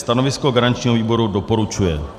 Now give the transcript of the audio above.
Stanovisko garančního výboru: doporučuje.